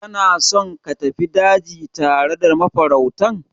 Kana so ka tafi daji tare da mafarautan?